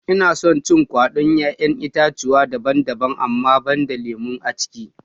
Ina son cin kwaɗon 'ya'yan itatchuwa daban-daban amma banda lemu aciki